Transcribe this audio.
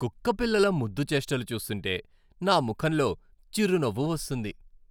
కుక్కపిల్లల ముద్దు చేష్టలు చూస్తుంటే నా ముఖంలో చిరునవ్వు వస్తుంది.